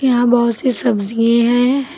यहां बहुत सी सब्जिए हैं।